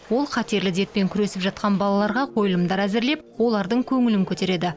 ол қатерлі дертпен күресіп жатқан балаларға қойылымдар әзірлеп олардың көңілін көтереді